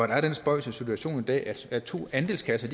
der er den spøjse situation i dag at to andelskasser